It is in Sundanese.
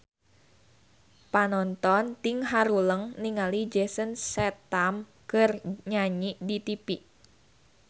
Panonton ting haruleng ningali Jason Statham keur nyanyi di tipi